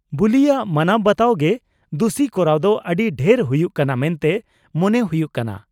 -ᱵᱩᱞᱤᱭᱟᱜ ᱢᱟᱱᱟᱣ ᱵᱟᱛᱟᱣ ᱜᱮ ᱫᱩᱥᱤ ᱠᱚᱨᱟᱣ ᱫᱚ ᱟᱹᱰᱤ ᱰᱷᱮᱨ ᱦᱩᱭᱩᱜ ᱠᱟᱱᱟ ᱢᱚᱱᱛᱮ ᱢᱚᱱᱮ ᱦᱩᱭᱩᱜ ᱠᱟᱱᱟ ᱾